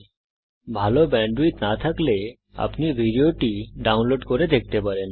যদি ভাল ব্যান্ডউইডথ না থাকে তাহলে আপনি ভিডিওটি ডাউনলোড করে দেখতে পারেন